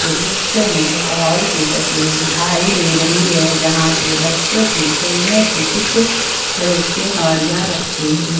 दृश्य में एक हॉल की तस्वीर दिखाई दे रही है जहां पे बच्चों की खेलने की कुछ रिक्शे गाड़ियां रखी हुई--